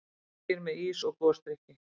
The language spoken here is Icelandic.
Margir með ís og gosdrykki.